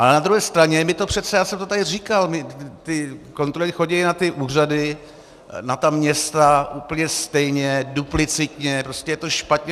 Ale na druhé straně - já jsem to tady říkal, ty kontroly chodí na ty úřady, na ta města, úplně stejně, duplicitně, prostě je to špatně.